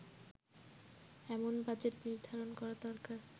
এমন বাজেট নির্ধারণ করা দরকার